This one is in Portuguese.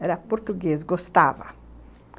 Era português, gostava.